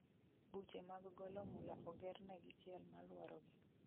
Buche mag golo mula oger negi chiel maluoro gi